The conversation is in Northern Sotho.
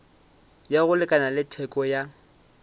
ya go lekana theko ya